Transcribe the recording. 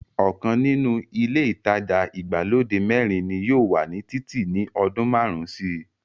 ọkàn nínú ilé ìtajà ìgbàlódé mẹ́rin ni yóò wà ní títì ní ọdún márùn-ún síi.